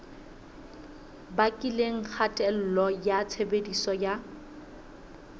bakileng kgatello ya tshebediso ya